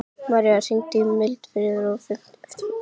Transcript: Marí, hringdu í Mildfríði eftir fimmtíu mínútur.